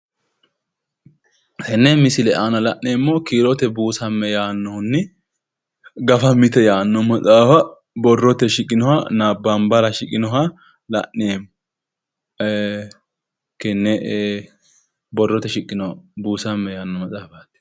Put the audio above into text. Tene misile aana la'neemmori kiirote buusamme ytano hedoote maqo amadino Maxaafati